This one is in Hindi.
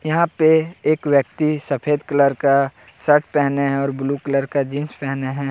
यहां पे एक व्यक्ति सफेद कलर का सर्ट पहने हैं और ब्लू कलर का जींस पहने हैं।